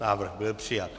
Návrh byl přijat.